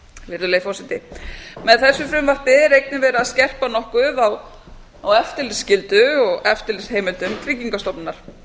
virðulegi forseti með þessu frumvarpi er einnig verið að skerpa nokkuð á eftirlitsskyldu og eftirlitsheimildum tryggingastofnunar